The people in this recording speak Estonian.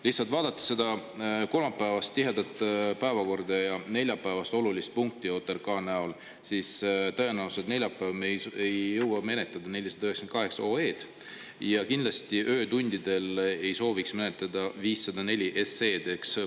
Lihtsalt vaadates seda kolmapäevast tihedat päevakorda ja neljapäevast olulist punkti, OTRK-d, siis tõenäoliselt neljapäeval me ei jõua menetleda 498 OE-d ja kindlasti öötundidel ei sooviks menetleda 504 SE-d.